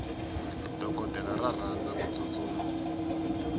dokodela ra rhandza kutsutsuma